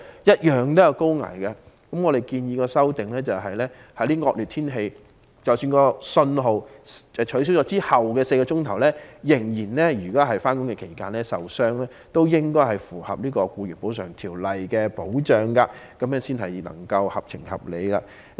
因此，我們建議作出修訂，在惡劣天氣下，如果是在信號解除後的4小時內上、下班途中受傷，也應該納入《僱員補償條例》的保障範圍，這樣才合情合理。